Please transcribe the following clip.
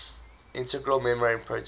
integral membrane proteins